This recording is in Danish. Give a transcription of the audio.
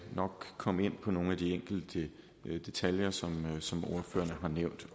nok komme ind på nogle af de enkelte detaljer som ordførerne har nævnt